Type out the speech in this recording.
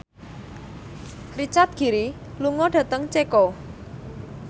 Richard Gere lunga dhateng Ceko